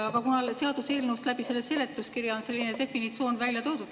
Aga seaduseelnõus või selle seletuskirjas on selline definitsioon välja toodud.